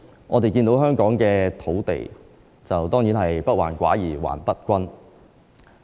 我們看到香港的土地，當然是不患寡而患不均。